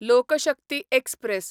लोक शक्ती एक्सप्रॅस